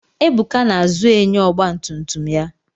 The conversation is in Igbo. Ebuka na-azụ enyo ọgbatumtum ya.